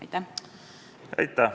Aitäh!